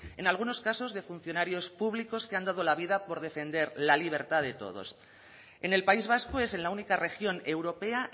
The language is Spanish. en algunos casos de funcionarios públicos que han dado la vida por defender la libertad de todos en el país vasco es en la única región europea